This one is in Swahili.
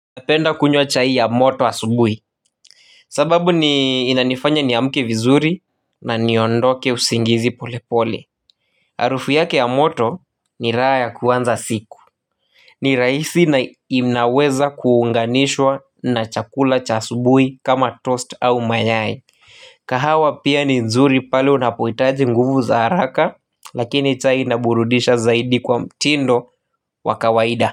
Napenda kunywa chai ya moto asubuhi. Sababu inanifanya niamke vizuri na niondoke usingizi polepole. Harufu yake ya moto ni raha ya kuanza siku. Ni rahisi na inaweza kuunganishwa na chakula cha asubuhi kama toast au mayai. Kahawa pia ni nzuri pale unapohitaji nguvu za haraka lakini chai inaburudisha zaidi kwa mtindo wa kawaida.